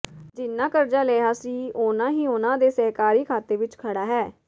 ਜਿਨ੍ਹਾਂ ਕਰਜ਼ਾ ਲਿਆ ਸੀ ਉਨ੍ਹਾਂ ਹੀ ਉਨ੍ਹਾਂ ਦੇ ਸਹਿਕਾਰੀ ਖਾਤੇ ਵਿਚ ਖੜਾ ਹੈ